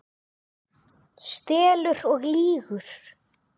Stelur og lýgur!